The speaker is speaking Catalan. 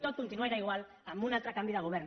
tot continuarà igual amb un altre canvi de govern